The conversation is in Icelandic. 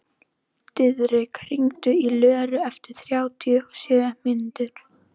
Diðrik, hringdu í Löru eftir þrjátíu og sjö mínútur.